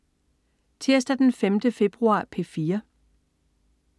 Tirsdag den 5. februar - P4: